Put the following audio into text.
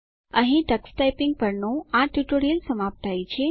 અહીં Tux typing પરનું આ ટ્યુટોરીયલ સમાપ્ત થાય છે